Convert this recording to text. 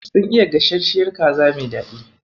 Sun iya gasashshiyar kaza mai daɗi.